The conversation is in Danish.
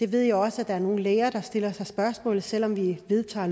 ved også at der er nogle læger der stiller sig spørgsmål selv om vi vedtager